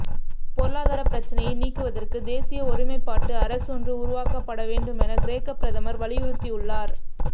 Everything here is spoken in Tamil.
பொருளாதாரப் பிரச்சினையை நீக்குவதற்கு தேசிய ஒருமைப்பாட்டு அரசொன்று உருவாக்கப்பட வேண்டுமென கிரேக்க பிரதமர் வலியுறுத்தியுள்ளார்